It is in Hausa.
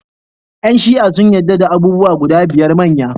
Yan Shi'a sun yadda da abubuwa guda biyar manya.